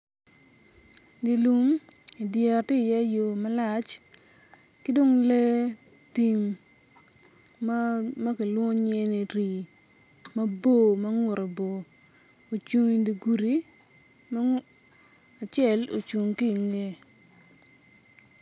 Dye lum idyere tye iye yo malac ki dong lee tim ma kilwongo nyinge ni rii mabor ma ngute bor ocung idye gudi ma acel ocung ki ingeye.